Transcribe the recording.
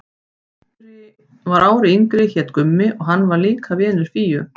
Sá sem var ári yngri hét Gummi og hann var líkur Fíu.